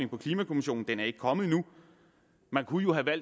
på klimakommissionen den er ikke kommet endnu man kunne